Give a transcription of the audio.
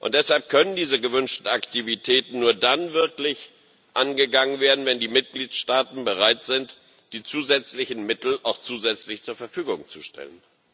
Deshalb können diese gewünschten Aktivitäten nur dann wirklich angegangen werden, wenn die Mitgliedstaaten bereit sind, auch zusätzlich Mittel zur Verfügung zu stellen.